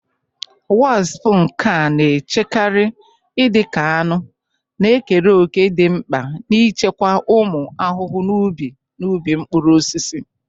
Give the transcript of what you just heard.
Wasps, nke a na-echekarị dị ka aṅụ, na-ekere òkè dị mkpa n'ịchịkwa ụmụ ahụhụ n'ubi na ubi mkpụrụ osisi.